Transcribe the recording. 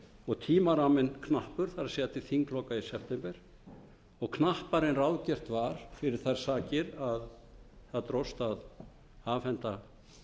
og tímaramminn knappur það er til þingloka í september og knappari en ráðgert var fyrir þær sakir að það dróst að afhenda